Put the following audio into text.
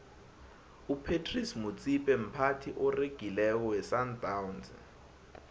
upratice motsipe mphathi oregileko wesandawnsi